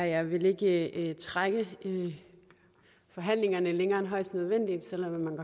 jeg vil ikke trække forhandlingerne længere end højst nødvendigt selv om man